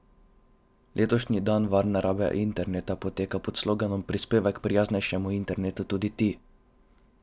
Letošnji dan varne rabe interneta poteka pod sloganom Prispevaj k prijaznejšemu internetu tudi ti!